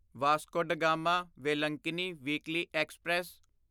Vasco da Gama Velankanni weekly express